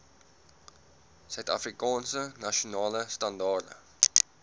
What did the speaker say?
suidafrikaanse nasionale standaarde